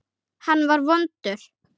Hann var vondur.